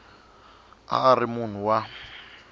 a a ri munhu wa